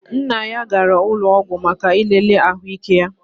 Nna ya gara ụlọọgwụ maka ilele ahụike ya